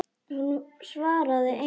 Hún svaraði engu.